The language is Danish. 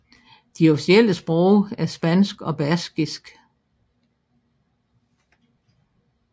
De officielle sprog er spansk og baskisk